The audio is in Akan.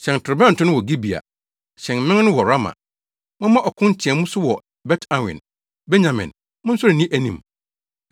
“Hyɛn torobɛnto no wɔ Gibea. Hyɛn mmɛn no wɔ Rama. Momma ɔko nteɛmu so wɔ Bet Awen; Benyamin, monsɔre nni anim.